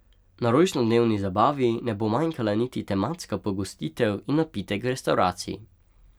Na rojstnodnevni zabavi ne bo manjkala niti tematska pogostitev in napitek v restavraciji.